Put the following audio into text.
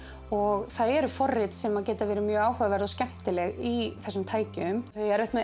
og það eru forrit sem geta verið mjög áhugaverð og skemmtileg í þessum tækjum þau eiga erfitt með